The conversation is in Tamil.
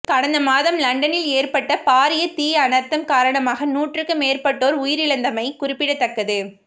கடந்த மாதம் லண்டனில் ஏற்பட்ட பாரிய தீ அனர்த்தம் காரணமாக நூற்றுக்கு மேற்பட்டோர் உயிரிழந்திருந்தமை குறிப்பிடத்தக்கது